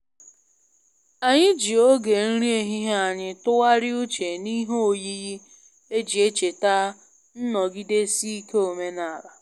Anyị ji oge nri ehihie anyị tụgharịa uche n'ihe oyiyi e ji echeta nnọgidesi ike omenala